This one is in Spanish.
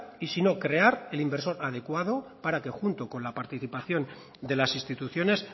y si no crear el inversor adecuado para que junto con la participación de las instituciones